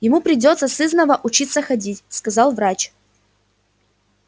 ему придётся сызнова учиться ходить сказал врач